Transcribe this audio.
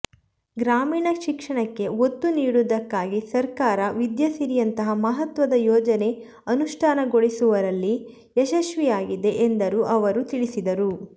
ಗ್ರಾಮೀಣ ಶಿಕ್ಷಣಕ್ಕೆ ಒತ್ತು ನೀಡುವುದಕ್ಕಾಗಿ ಸರ್ಕಾರ ವಿದ್ಯಾಸಿರಿಯಂತಹ ಮಹತ್ವದ ಯೋಜನೆ ಅನುಷ್ಠಾನಗೊಳಿಸುವಲ್ಲಿ ಯಶಸ್ವಿಯಾಗಿದೆ ಎಂದರು ಅವರು ತಿಳಿಸಿದರು